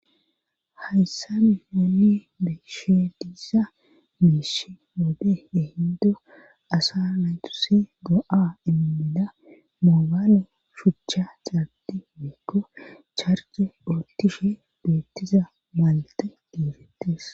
hayssa nuni be,she diiza miish wode ehindo asa naytuse go7a iemida moobaale shuchcha xaabti meekko charce otishe beettiza malte diifettes